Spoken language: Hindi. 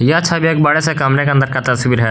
यह छवि एक बड़े से कमरे के अंदर का तस्वीर है।